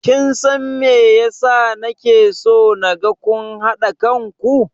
Kin san me yasa na ke so naga kun haɗa kan ku?